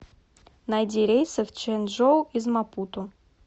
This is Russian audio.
найди рейсы в чжэнчжоу из мапуту